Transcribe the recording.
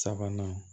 Sabanan